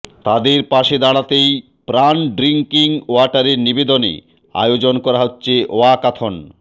তাদের পাশে দাঁড়াতেই প্রাণ ড্রিংকিং ওয়াটারের নিবেদনে আয়োজন হচ্ছে ওয়াকাথন